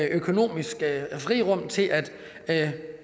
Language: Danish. økonomisk frirum til at